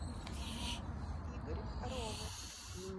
игорь ромас